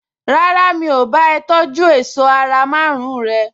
Rárá, mi ò bá a tọjú èṣọ́ ara márùn-ún rẹ̀